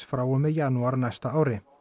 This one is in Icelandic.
frá og með janúar á næsta ári